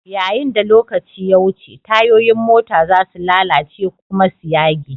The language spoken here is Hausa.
Yayin da lokaci ya wuce, tayoyin mota za su lalace kuma su yage.